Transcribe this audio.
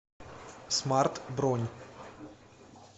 смарт бронь